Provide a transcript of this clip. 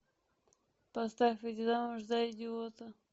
поставь выйти замуж за идиота